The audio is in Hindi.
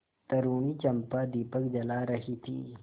तरूणी चंपा दीपक जला रही थी